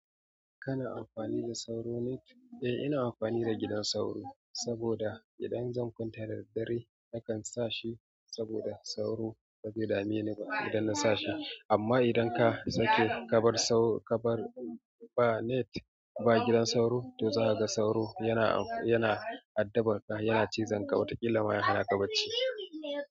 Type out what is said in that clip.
Kana amfani da sauro ne? Eh ina amfani da gidan sauro saboda idan zan kwanta da daddare nakan sa shi saboda sauro ba zai dameni ba idan ban sa shi ba. Amma idan ka sake ka bar ba net ba gidan sauro, to za ka ga sauro yana addabar ka, yana cizon ka wataƙila ma ya hanaka bacci.